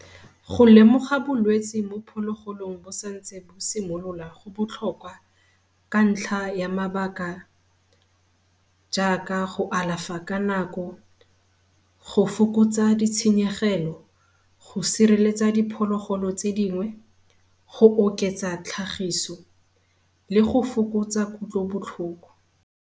Go lemoga bolwetsi mo phologolong bo sa ntse bo simolola go botlhokwa ka ntlha ya mabaka jaaka go alafa ka nako, go fokotsa ditshenyegelo, go sireletsa diphologolo tse dingwe, go oketsa tlhagiso le go fokotsa kutlobotlhoko.